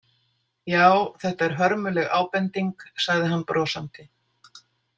Já, þetta er hörmuleg ábending, sagði hann brosandi.